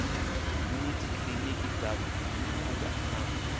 yuniti kiliniki dza mafhungo na